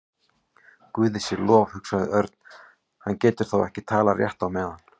Guði sé lof, hugsaði Örn, hann getur þá ekki talað rétt á meðan.